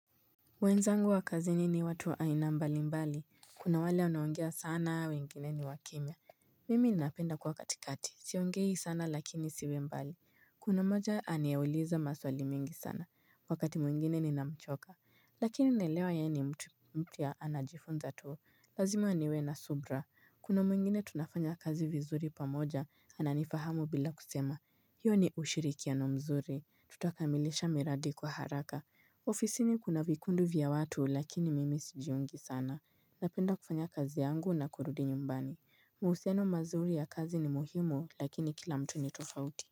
Mwenzangu wa kazini ni watu aina mbali mbali, kuna wale wanaongea sana, wengine ni wakimya. Mimi ninapenda kwa katikati, siongei sana lakini siwe mbali. Kuna moja aniuliza maswali mingi sana, wakati mwingine ninamchoka. Lakini naelewa ye ni mtu mpya anajifunza tu, lazima niwe na subra. Kuna mwingine tunafanya kazi vizuri pamoja, ananifahamu bila kusema. Hiyo ni ushirikiano mzuri, tutakamilisha miradi kwa haraka. Ofisini kuna vikundi vya watu lakini mimi sijiungi sana Napenda kufanya kazi yangu na kurudi nyumbani Muhusiano mazuri ya kazi ni muhimu lakini kila mtu ni tofauti.